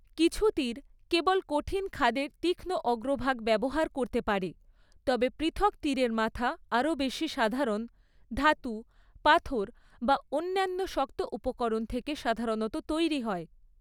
কিছু তীর কেবল কঠিন খাদের তীক্ষ্ণ অগ্রভাগ ব্যবহার করতে পারে, তবে পৃথক তীরের মাথা আরও বেশি সাধারণ, ধাতু, পাথর বা অন্যান্য শক্ত উপকরণ থেকে সাধারণত তৈরি হয়।